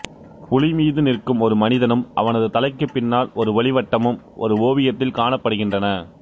புலிமீது நிற்கும் ஒரு மனிதனும் அவனது தலைக்குப் பின்னால் ஒரு ஒளிவட்டமும் ஒரு ஓவியத்தில் காணப்படுகின்றன